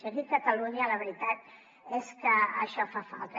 i aquí a catalunya la veritat és que això fa falta